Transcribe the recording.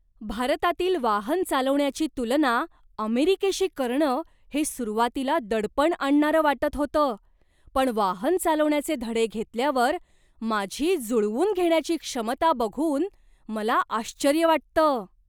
भारतातील वाहन चालवण्याची तुलना अमेरिकेशी करणं हे सुरुवातीला दडपण आणणारं वाटत होतं, पण वाहन चालवण्याचे धडे घेतल्यावर, माझी जुळवून घेण्याची क्षमता बघून मला आश्चर्य वाटतं!